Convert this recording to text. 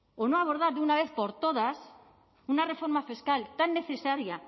o no abordar de una vez por todas una reforma fiscal tan necesaria